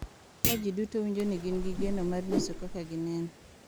Ka ji duto winjo ni gin gi geno mar nyiso kaka gineno,